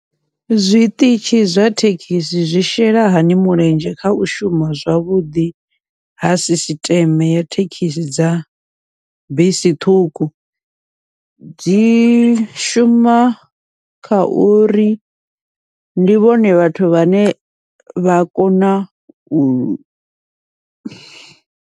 Zwiṱitshi zwa thekhisi zwi shela hani mulenzhe kha u shuma zwavhuḓi ha sisiṱeme ya thekhisi dza bisi ṱhukhu, dzi shuma kha uri ndi vhone vhathu vhane vha kona u.